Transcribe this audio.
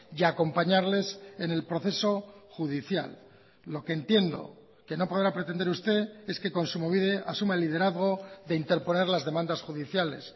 y acompañarles en el proceso judicial lo que entiendo que no podrá pretender usted es que kontsumobide asuma el liderazgo de interponer las demandas judiciales